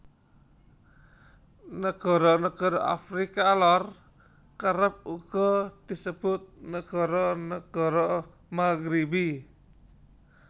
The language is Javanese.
Nagara nagara Afrika Lor kerep uga disebut nagara nagara Maghribi